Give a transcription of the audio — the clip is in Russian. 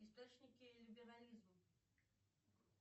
источники либерализма